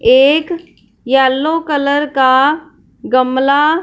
एक yellow colour का गमला--